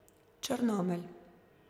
Črnomelj.